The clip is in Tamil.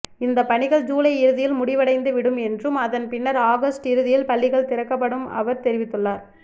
இந்த பணிகள் ஜூலை இறுதியில் முடிவடைந்து விடும் என்றும் அதன் பின்னர் ஆகஸ்ட் இறுதியில் பள்ளிகள் திறக்கப்படும் அவர் தெரிவித்துள்ளார்